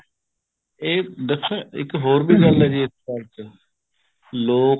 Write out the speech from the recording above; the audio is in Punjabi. ਇਹ ਦੱਸਾਂ ਇੱਕ ਹੋਰ ਵੀ ਗੱਲ ਹੈ ਜੀ ਇਸ ਚ ਲੋਕ